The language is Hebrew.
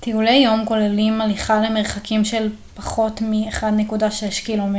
טיולי יום כוללים הליכה למרחקים של פחות מ-1.6 ק מ